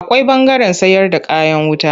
Akwai ɓangaren sayarda kayan wuta.